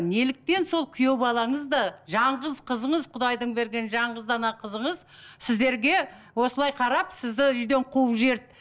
неліктен сол күйеубалаңыз да жалғыз қызыңыз құдайдың берген жалғыз дана қызыңыз сіздерге осылай қарап сіздерді үйден қуып жіберді